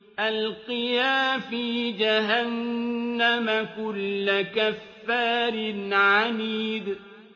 أَلْقِيَا فِي جَهَنَّمَ كُلَّ كَفَّارٍ عَنِيدٍ